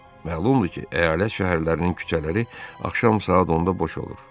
Məlumdur ki, əyalət şəhərlərinin küçələri axşam saat 10-da boş olur.